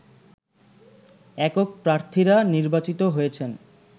একক প্রার্থীরা নির্বাচিত হয়েছেন